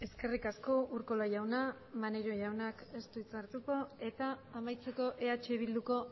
eskerrik asko urkola jauna maneiro jaunak ez du hitza hartuko eta amaitzeko eh bilduko